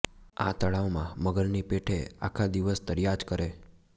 આ તળાવમાં મગરની પેઠે આખા દિવસ તર્યા જ કરે